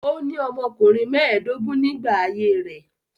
Ó ní ọmọkùnrin mẹ́ẹ̀dógún nígbà ayé rẹ̀.